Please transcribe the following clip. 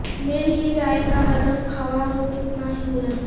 مل ہی جائے گا ہدف خواہ ہو کتنا ہی بلند